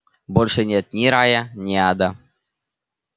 больше нет ни рая ни ада